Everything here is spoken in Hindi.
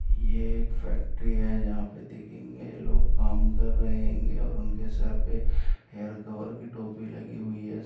यह एक फैक्‍टरी है जहाँ पर देखेंगे ये लोग काम कर रहे है और उनके सर पे हेयर कवर की टोपी लगी हुई है।